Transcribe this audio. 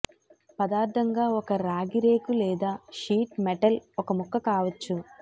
పదార్ధంగా ఒక రాగి రేకు లేదా షీట్ మెటల్ ఒక ముక్క కావచ్చు